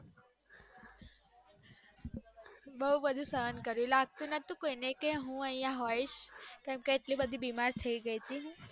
બઉ બધું સહન કર્યું લાગતું નોતું ક હું અયા હોઇસ કેમ કે એટલી બધી બીમાર થય ગય હતી.